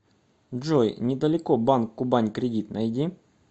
джой недалеко банк кубань кредит найди